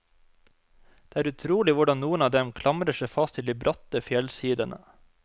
Det er utrolig hvordan noen av dem klamrer seg fast til de bratte fjellsidene.